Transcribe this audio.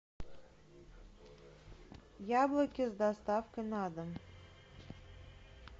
яблоки с доставкой на дом